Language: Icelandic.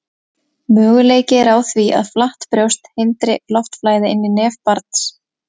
Möguleiki er á því að flatt brjóst hindri loftflæði inn í nef barns.